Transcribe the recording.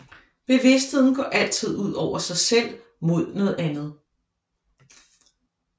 Bevidstheden går altid ud over sig selv mod noget andet